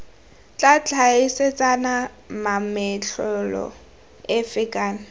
tla tlhaeletsana mametlelelo efe kana